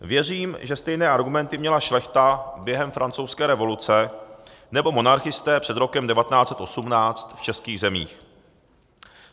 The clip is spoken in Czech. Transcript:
Věřím, že stejné argumenty měla šlechta během Francouzské revoluce nebo monarchisté před rokem 1918 v českých zemích.